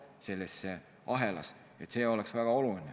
See oleks väga oluline.